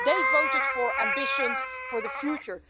They voted for ambitions for the future.